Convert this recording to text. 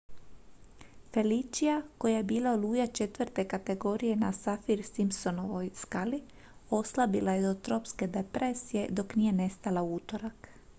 felicia koja je bila oluja 4. kategorije na saffir-simpsonovoj skali oslabila je do tropske depresije dok nije nestala u utorak